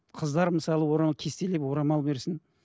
қыздар мысалы кестелеп орамал берсін